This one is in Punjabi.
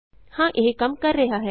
ਹਾਂ ਇਹ ਕੰਮ ਕਰ ਰਿਹਾ ਹੈ